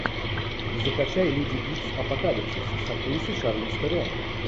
закачай люди икс апокалипсис с актрисой шарлиз терон